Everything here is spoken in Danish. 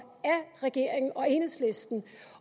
regeringen og enhedslisten